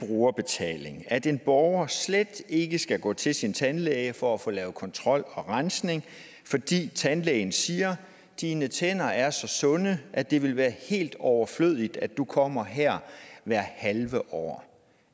det brugerbetaling at en borger slet ikke skal gå til sin tandlæge for at få lavet kontrol og rensning fordi tandlægen siger dine tænder er så sunde at det vil være helt overflødigt at du kommer her hvert halve år